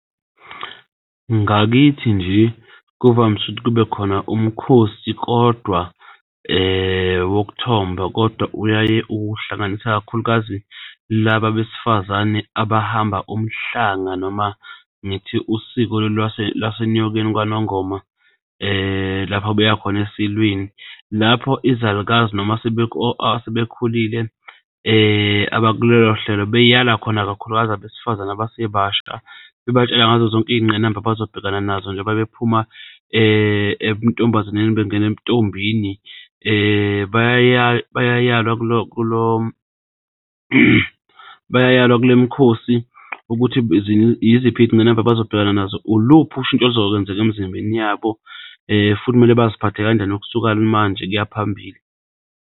Ngakithi nje kuvamise ukuthi kube khona umkhosi kodwa wokuthomba, kodwa uyaye uhlanganisa kakhulukazi laba besifazane abahamba umhlanga noma ngithi usiko lwaseNyokeni kwanongoma lapha beyakhona esilweni. Lapho izalukazi noma asebekhulile aba kulolohlelo beyala khona, ikakhulukazi abesifazane abasebasha bebatshela ngazo zonke iy'ngqinamba abazobhekana nazo njengoba bephuma ebuntombazaneni bengena ebuntombini bayayalwa kulo kulo, bayayalwa kule mikhosi ukuthi yiziphi iy'ngqinamba abazobhekana nazo. Uluphi ushintsho oluzokwenzeka emzimbeni yabo futhi kumele baziphathe kanjani ukusuka manje kuyaphambili.